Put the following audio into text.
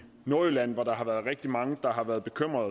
nordjylland hvor rigtig mange har været bekymrede